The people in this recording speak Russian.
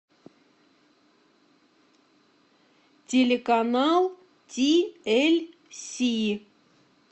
телеканал ти эль си